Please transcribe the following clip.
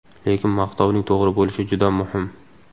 Lekin maqtovning to‘g‘ri bo‘lishi juda muhim.